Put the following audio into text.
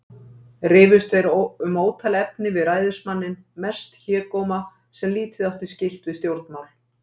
Rifust þeir um ótal efni við ræðismanninn, mest hégóma, sem lítið átti skylt við stjórnmál.